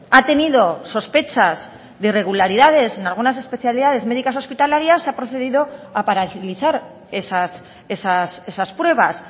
ha tenido sospechas de irregularidades en algunas especialidades médicas hospitalarias se ha procedido a paralizar esas pruebas